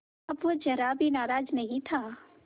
अब वह ज़रा भी नाराज़ नहीं था